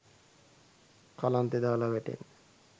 කලන්තෙ දාලා වැටෙන්න